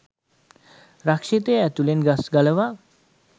රක්ෂිතය ඇතුළෙන් ගස් ගලවා